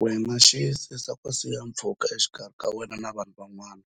wena Xiyisisa ku siya pfhuka exikarhi ka wena na vanhu van'wana